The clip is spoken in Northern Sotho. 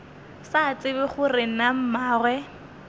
sa tsebe gore na mmagwe